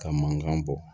Ka mankan bɔ